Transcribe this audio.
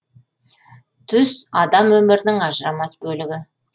түс адам өмірінің ажырамас бөлігі